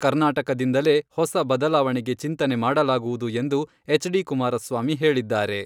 ಕರ್ನಾಟಕದಿಂದಲೇ ಹೊಸ ಬದಲಾವಣೆಗೆ ಚಿಂತನೆ ಮಾಡಲಾಗುವುದು ಎಂದು ಎಚ್ ಡಿ ಕುಮಾರಸ್ವಾಮಿ ಹೇಳಿದ್ದಾರೆ.